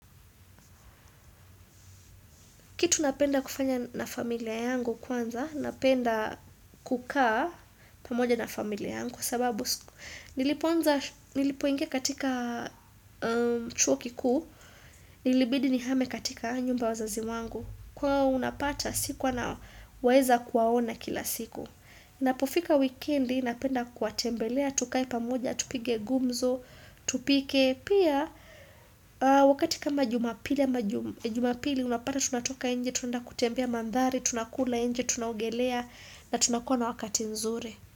Kitu napenda kufanya na familia yangu kwanza, napenda kukaa pamoja na familia yangu kwa sababu nilipoingi katika chuo kikuu, nilibidi nihame katika nyumba ya wazazi wangu. Kwa hio unapata sikuwa naweza kuwaona kila siku. Inapofika wikendi, napenda kuwatembelea, tukae pamoja, tupige gumzo, tupike. Pia wakati kama jumapili unapata tunatoka nje, tunaenda kutembea mandhari, tunakula nje, tunaogelea na tunakua na wakati nzuri.